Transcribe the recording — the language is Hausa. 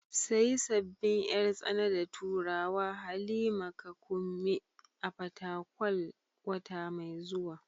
Sayi sabbin yar tsana da turawa Halima ka Kunmi a Fatakwal wata mai zuwa.